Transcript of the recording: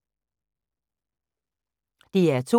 DR2